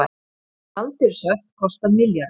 Gjaldeyrishöft kosta milljarða